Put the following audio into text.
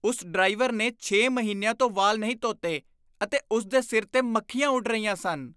ਉਸ ਡਰਾਈਵਰ ਨੇ ਛੇ ਮਹੀਨਿਆਂ ਤੋਂ ਵਾਲ ਨਹੀਂ ਧੋਤੇ ਅਤੇ ਉਸ ਦੇ ਸਿਰ 'ਤੇ ਮੱਖੀਆਂ ਉੱਡ ਰਹੀਆਂ ਸਨ।